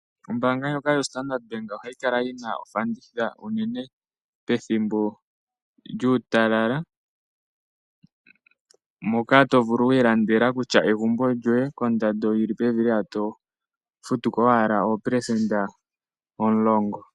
Ombaanga ndjoka yo Standard Bank ohayi kala yi na oofanditha unene pethimbo lyuutalala, moka to vulu wu ilandela kutya egumbo lyoye kondando yi li pevi lela to futu ko owala oopelesenda omulongo.